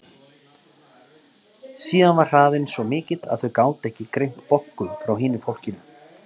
Síðast var hraðinn svo mikill að þau gátu ekki greint Boggu frá hinu fólkinu.